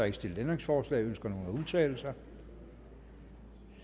ikke stillet ændringsforslag ønsker nogen at udtale sig